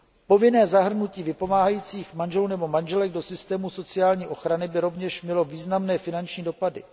Povinné zahrnutí vypomáhajících manželů nebo manželek do systému sociální ochrany by rovněž mělo významné finanční dopady.